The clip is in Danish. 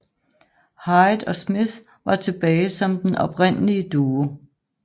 Hyde og Smith var tilbage som den oprindelige duo